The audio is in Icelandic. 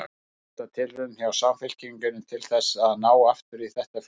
Er þetta tilraun hjá Samfylkingunni til þess að ná aftur í þetta fylgi?